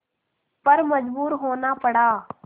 पर मजबूर होना पड़ा